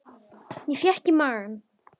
Ég fékk í magann.